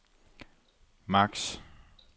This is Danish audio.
maks